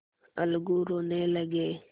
अलगू रोने लगे